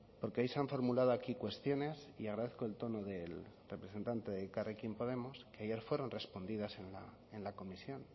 porque hoy se han formulado aquí cuestiones y agradezco el tono del representante de elkarrekin podemos que ayer fueron respondidas en la comisión